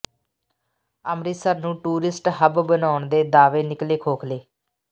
ਅੰਮ੍ਰਿਤਸਰ ਨੂੰ tourist hub ਬਣਾਉਣ ਦੇ ਦਾਅਵੇ ਨਿਕਲੇ ਖੋਖਲੇ